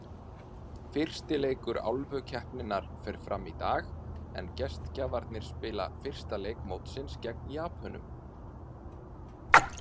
Fyrsti leikur Álfukeppninnar fer fram í dag, en gestgjafarnir spila fyrsta leik mótsins gegn Japönum.